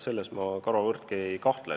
Selles ma karvavõrdki ei kahtle.